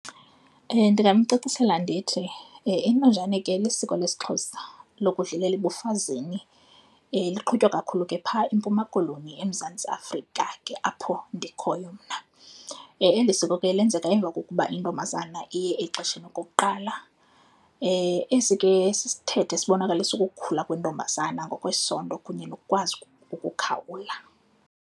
Ndingamcacisela ndithi intonjane ke lisiko lesiXhosa lokudlulela ebufazini, liqhutywa kakhulu ke phaa eMpuma Koloni, eMzantsi Afrika ke apho ndikhoyo mna. Eli siko ke lenzeka emva kokuba intombazana iye exesheni okokuqala. Esi ke sisithethe esibonakalisa ukukhula kwentombazanana ngokwesondo kunye nokukwazi ukukhawula.